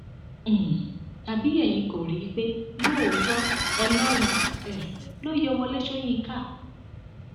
um tàbí ẹyin kò rí i pé lóòótọ ọlọrun um ló yọ wọlé sọyìnkà